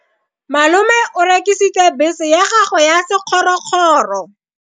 Malome o rekisitse bese ya gagwe ya sekgorokgoro.